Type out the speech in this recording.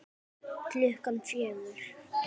Klukkan fjögur?